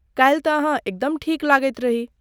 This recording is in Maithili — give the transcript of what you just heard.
काल्हि तँ अहाँ एकदम ठीक लगैत रही।